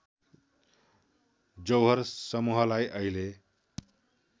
जौहर समूहलाई अहिले